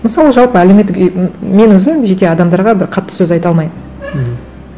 мысалы жалпы әлеуметтік мен өзім жеке адамдарға бір қатты сөз айта алмаймын мхм